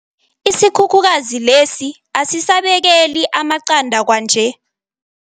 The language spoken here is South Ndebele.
Isikhukhukazi lesi asisabekeli amaqanda kwanje.